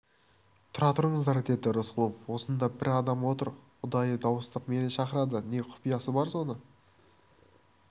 тұра тұрыңыздар деді рысқұлов осында бір адам отыр ұдайы дауыстап мені шақырады не құпиясы бар соны